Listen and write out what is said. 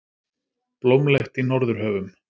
Blómlegt í Norðurhöfum